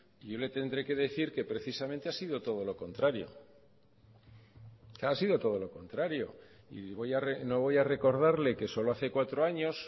y yo le tendré que decir que precisamente ha sido todo lo contrario ha sido todo lo contrario y no voy a recordarle que solo hace cuatro años